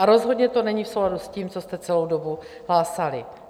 A rozhodně to není v souladu s tím, co jste celou dobu hlásali.